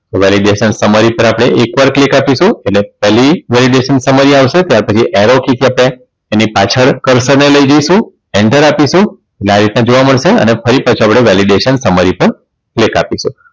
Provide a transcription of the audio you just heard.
Validation Summary પર આપણે એક વાર click આપીશું એટલે પેલી Validation Summary આવશે ત્યાર પછી એરો એની પાછળ Cursor લઇ જઈશું enter આપીશું એટલે આ રીતનું જોવા મળશે અને ફરી પાછું આપણે Validation Summary પર click આપીશું